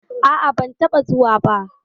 A'a, ban taɓa zuwa ba.